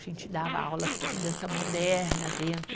A gente dava aulas de dança moderna dentro.